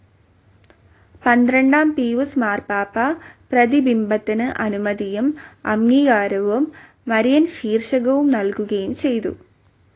പന്ത്രണ്ടാം പീയൂസ് മാർപ്പാപ്പ പ്രതിബിംബത്തിനു അനുമതിയും അംഗീകാരവും മരിയൻ ശീർഷകവും നൽകുകയും ചെയ്തു.